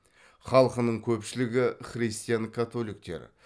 халқының көпшілігі христиан католиктер